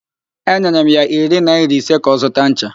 Enyere m ya iri naịra ise ka ọ zụta ncha.